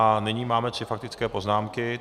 A nyní máme tři faktické poznámky.